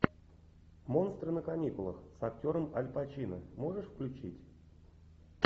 монстры на каникулах с актером аль пачино можешь включить